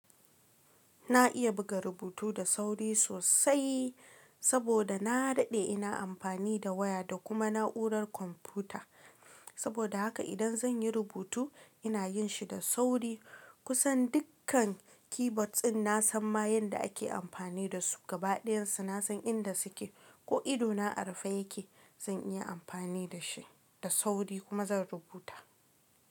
Na iya buga rubutu da sauri sosai saboda na daɗe ina amfani da waya da kuma na'urar kwamfuta. Saboda haka idan zan yi rubutu ina yin shi da sauri. Kusan dukkan keyboard din nasan ma yanda ake amfani dasu. Gabaɗayan su na san inda suke. Ko ido na a rufe yake zan iya amfani da shi da sauri kuma zan rubuta.